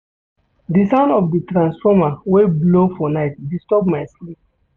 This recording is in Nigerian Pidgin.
Di sound of di transformer wey blow for night disturb my sleep.